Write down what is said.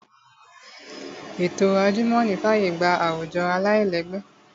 Ètò àjùmọ̀ní fàyè gba àwùjọ aláìlẹ́gbẹ́